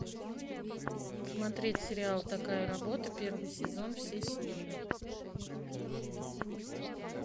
смотреть сериал такая работа первый сезон все серии